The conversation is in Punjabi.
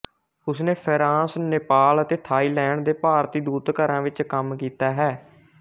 ਉਸਨੇ ਫ਼ਰਾਂਸ ਨੇਪਾਲ ਅਤੇ ਥਾਈਲੈਂਡ ਦੇ ਭਾਰਤੀ ਦੂਤਘਰਾਂ ਵਿੱਚ ਕੰਮ ਕੀਤਾ ਹੈ